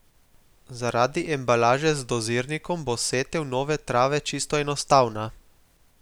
Zaradi embalaže z dozirnikom bo setev nove trave čisto enostavna.